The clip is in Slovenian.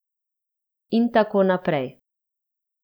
In tako naprej.